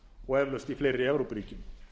og eflaust í fleiri evrópuríkjum